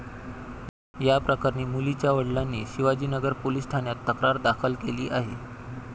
या प्रकरणी मुलीच्या वडिलांनी शिवाजीनगर पोलीस ठाण्यात तक्रार दाखल केली आहे.